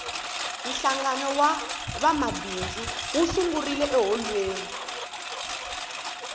hlangano wa vamabindzu wu sungurile eholweni